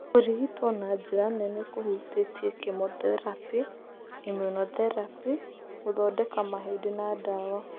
Kũrigitwo na njĩra nene kũhutĩtie chemotherapy, immunotherapy, gũthondeka mahĩndĩ, na ndawa.